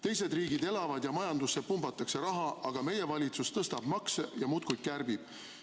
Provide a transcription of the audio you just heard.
Teised riigid elavad ja majandusse pumbatakse raha, aga meie valitsus tõstab makse ja muudkui kärbib.